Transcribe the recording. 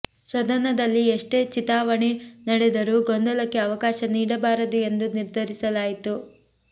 ಸದನದಲ್ಲಿ ಎಷ್ಟೇ ಚಿತಾವಣೆ ನಡೆದರೂ ಗೊಂದಲಕ್ಕೆ ಅವಕಾಶ ನೀಡಬಾರದು ಎಂದು ನಿರ್ಧರಿಸಲಾಯಿತು